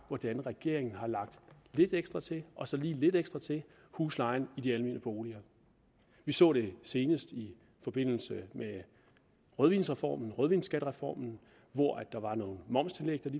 hvordan regeringen har lagt lidt ekstra til og så lige lidt ekstra til huslejen i de almene boliger vi så det senest i forbindelse med rødvinsreformen rødvins skatte reformen hvor der var nogle momstillæg der